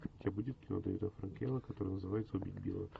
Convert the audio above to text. у тебя будет кино дэвида фрэнкела которое называется убить билла